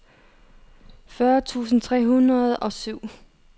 fyrre tusind tre hundrede og syv